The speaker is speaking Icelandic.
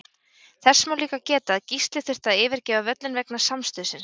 Þess má líka geta að Gísli þurfti að yfirgefa völlinn vegna samstuðsins.